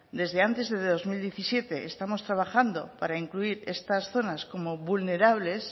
desde antes de dos mil diecisiete estamos trabajando para incluir estas zonas como vulnerables